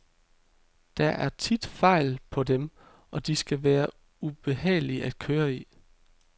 Der er tit fejl på dem, og de kan være ubehagelige at køre i.